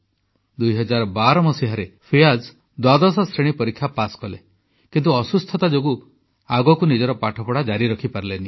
2012 ମସିହାରେ ଫିୟାଜ୍ ଦ୍ୱାଦଶ ଶ୍ରେଣୀ ପରୀକ୍ଷା ପାସ୍ କଲେ କିନ୍ତୁ ଅସୁସ୍ଥତା ଯୋଗୁଁ ଆଗକୁ ନିଜର ପାଠପଢ଼ା ଜାରି ରଖିପାରିଲେ ନାହିଁ